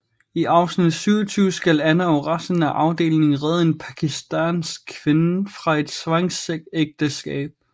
I afsnit 27 skal Anna og resten af afdelingen redde en pakistansk kvinde fra et tvangsægteskab